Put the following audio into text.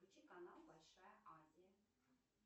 включи канал большая азия